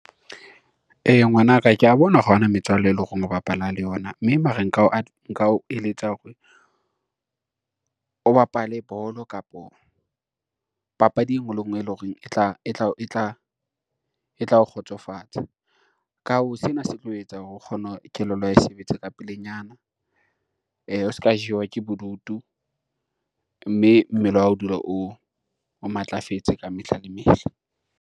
Ngwana ka kea bona hore ha ona metswalle e lo reng o bapala le yona, mme mare nka o eletsa hore o bapale bolo kapo papadi e ngwe le ngwe e lo reng e tlao kgotsofatsa. Ka hoo sena se tlo etsa hore o kgone kelello ya hao e sebetsa ka pelenyana, o se ka jewa ke bodutu mme mmele wa hao o dula o matlafetse ka mehla le mehla.